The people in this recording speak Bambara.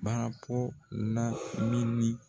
Baara po la mi ni